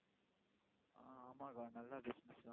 ஆஹ் ஆமா அக்கா நல்ல business தான்